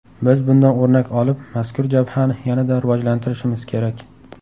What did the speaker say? Biz bundan o‘rnak olib, mazkur jabhani yanada rivojlantirishimiz kerak.